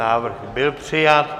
Návrh byl přijat.